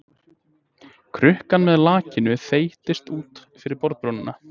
Krukkan með lakkinu þeytist út fyrir borðbrúnina.